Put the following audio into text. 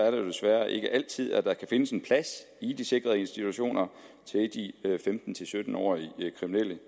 jo desværre ikke altid at der kan findes en plads i de sikrede institutioner til de femten til sytten årige kriminelle